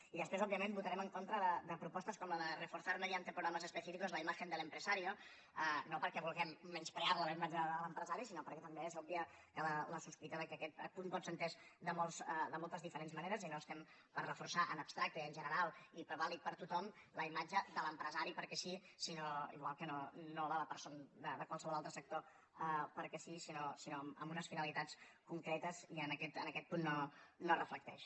i després òbviament votarem en contra de propostes com la de reforzar mediante programas específicos la imagen del empresario no perquè vulguem menysprear la la imatge de l’empresari sinó perquè també és òbvia la sospita que aquest punt pot ser entès de moltes diferents maneres i no estem per reforçar en abstracte i en general i vàlid per a tothom la imatge de l’empresari perquè sí igual que no la de qualsevol altre sector perquè sí sinó amb unes finalitats concretes i en aquest punt no es reflecteix